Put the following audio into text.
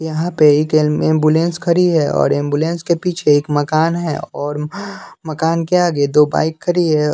यहां पे एक एम्बुलेंस खड़ी है और एंबुलेंस के पीछे एक मकान हैं और मकान के आगे दो बाइक खरी है।